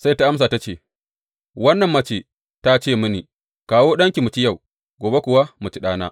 Sai ta amsa ta ce, Wannan mace ta ce mini, Kawo ɗanki mu ci yau, gobe kuwa mu ci ɗana.’